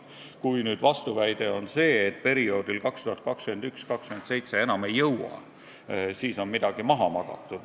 Kui nüüd on vastuväide, et perioodil 2021–2027 enam ei jõua, siis on midagi maha magatud.